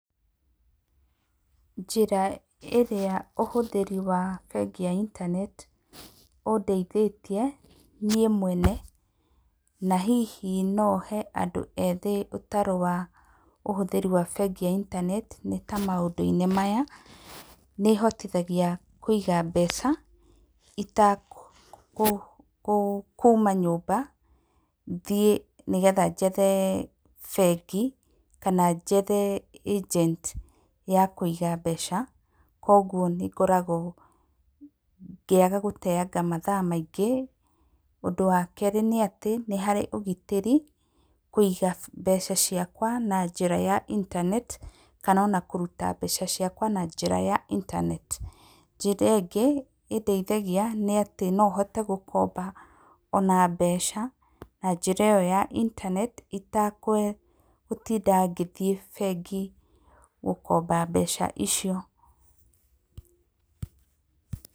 Njĩra ĩrĩa ũhũthĩri wa bengĩ ya intaneti ũndeithĩtie niĩ mwene. Na hihi nohe andũ ethĩ ũtaro wa ũhũthĩri wa bengi ya intaneti, nĩ ta maũndũ-inĩ maya; nĩ ĩhotithagia kũiga mbeca itakuuma nyũmba thiĩ nĩgetha njethe bengi, kana njethe agent ya kũiga mbeca. Koguo nĩngoragwo ngĩaga gũteyanga mathaa maingĩ. Ũndũ wakerĩ nĩ atĩ, nĩ harĩ ũgitĩri kũiga mbeca ciakwa na njĩra ya intanet, kana ona kũruta mbeca ciakwa na njĩra ya intaneti. Njira ĩngĩ ĩndeithagia nĩ atĩ, nohote gũkomba ona mbeca, njĩra ĩyo ya intaneti itagũtinda ngĩthiĩ bengi gũkomba mbeca icio.